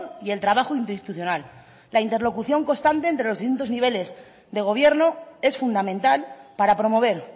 y el trabajo interinstitucional la interlocución constante entre los distintos niveles de gobierno es fundamental para promover